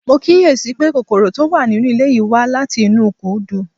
Mo kíyè sí i pé kòkòrò tó wà nínú ilé yìí wá láti inú ìkùdu